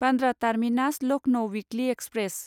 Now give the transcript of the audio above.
Bandra terminus Lucknow weekly express